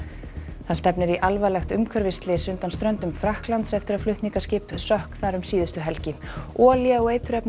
það stefnir í alvarlegt umhverfisslys undan ströndum Frakklands eftir að flutningaskip sökk þar um síðustu helgi olía og